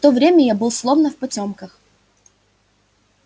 в то время я был словно в потёмках